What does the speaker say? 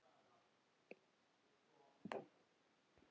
Þín Inga Dóra.